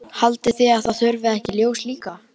Haldið þið að það þurfi ekki ljós líka?